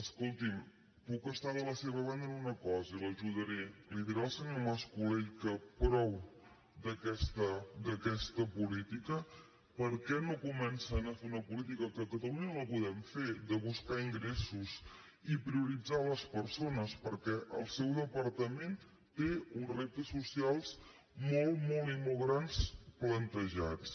escolti’m puc estar de la seva banda en una cosa i l’ajudaré li dirà al senyor mascolell que prou d’aquesta política per què no comencen a fer una política que a catalunya la podem fer de buscar ingressos i prioritzar les persones perquè el seu departament té uns reptes socials molt i molt grans plantejats